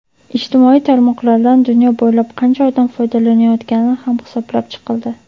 ijtimoiy tarmoqlardan dunyo bo‘ylab qancha odam foydalanayotgani ham hisoblab chiqildi.